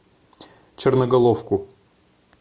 черноголовку